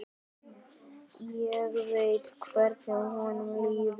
Ég veit hvernig honum líður.